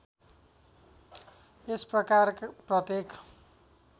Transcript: यस प्रकार प्रत्येक